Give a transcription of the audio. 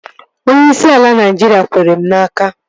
Onyeisi ala Naịjiria kwere m n'aka